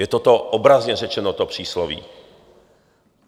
Je to obrazně řečeno, to přísloví.